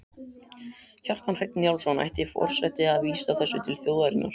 Kjartan Hreinn Njálsson: Ætti forseti að vísa þessu til þjóðarinnar?